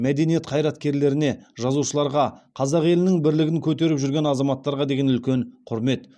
мәдениет қайраткерлеріне жазушыларға қазақ елінің бірлігін көтеріп жүрген азаматтарға деген үлкен құрмет